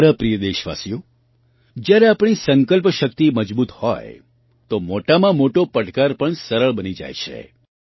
મારા પ્રિય દેશવાસીઓ જ્યારે આપણી સંકલ્પ શક્તિ મજબૂત હોય તો મોટામાં મોટો પડકાર પણ સરળ બની જાય છે